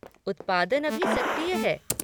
उत्पादन अभी सक्रिय है।